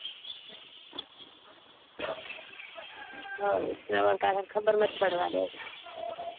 હમ સરવન કાકા ને ખબર નથ પાડવા દેતા